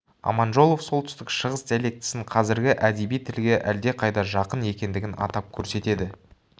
аманжолов солтүстік шығыс диалектісін қазіргі әдеби тілге әлдеқайда жақын екендігін атап көрсетеді